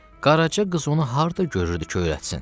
Qaraca qız onu harda görürdü ki, öyrətsin?